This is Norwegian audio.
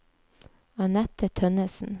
Annette Tønnessen